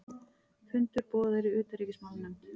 Fundur boðaður í utanríkismálanefnd